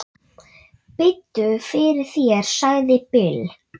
Biddu fyrir þér, sagði Bill.